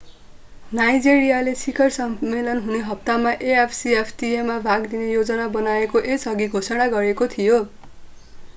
नाइजेरियाले शिखर सम्मेलन हुने हप्तामा afcfta मा भाग लिने योजना बनाएको यसअघि घोषणा गरेको थियो